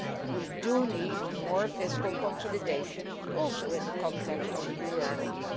We do need more fiscal consolidation, also in the context of the Eurobonds.